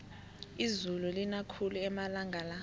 izulu lina khulu amalanga la